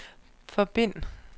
forbind